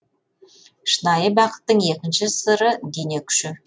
шынайы бақыттың екінші сыры дене күші